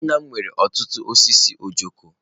Nna m nwere ọtụtụ osisi ojoko.